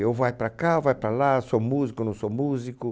Eu vai para cá, ou vai para lá, sou músico ou não sou músico.